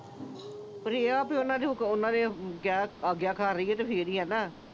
ਪਰ ਇਹ ਆ ਵੀ ਉਨ੍ਹਾਂ ਦੇ ਅਹ ਆਗਿਆਕਾਰ ਰਹੀਏ, ਫੇਰ ਹੀ ਆ ਨਾ।